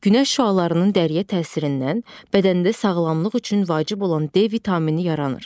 Günəş şüalarının dəriyə təsirindən bədəndə sağlamlıq üçün vacib olan D vitamini yaranır.